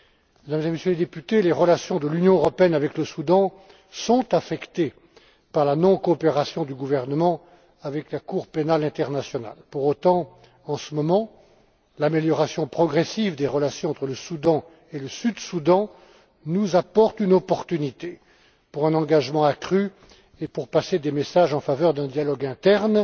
Mesdames et Messieurs les députés, les relations de l'Union européenne avec le Soudan sont affectées par la non coopération du gouvernement avec la Cour pénale internationale. Toutefois, en ce moment, l'amélioration progressive des relations entre le Soudan et le Soudan du Sud nous donne l'opportunité d'un engagement accru et de passer des messages en faveur d'un dialogue interne